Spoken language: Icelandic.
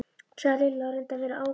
sagði Lilla og reyndi að vera ákveðin.